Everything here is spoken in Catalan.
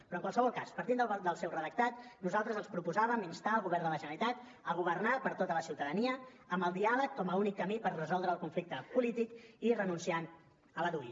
però en qualsevol cas partint del seu redactat nosaltres els proposàvem instar el govern de la generalitat a governar per a tota la ciutadania amb el diàleg com a únic camí per resoldre el conflicte polític i renunciant a la dui